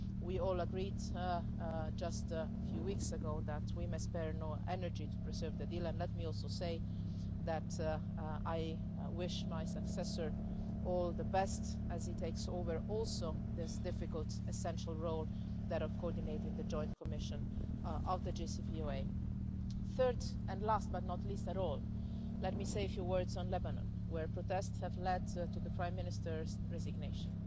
We all agreed just a few weeks ago that we must spare no efforts to preserve the deal, and let me also say that I wish my successor all the best as he takes over also this difficult essential role that of coordinating the Joint Commission of the JCPOA. Third and last, but not least at all, let me say a few words on Lebanon where protests have led to the prime minister's resignation.